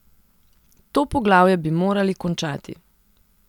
To poglavje bi morali končati.